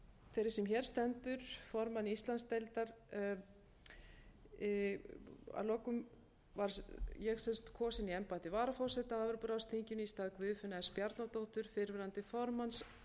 sú er hér stendur formaður íslandsdeildar kosin í embætti varaforseta á evrópuráðsþinginu í stað guðfinnu s bjarnadóttur fyrrverandi formanns